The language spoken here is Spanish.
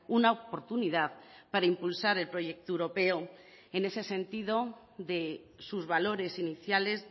una oportunidad para impulsar el proyecto europeo en ese sentido de sus valores iniciales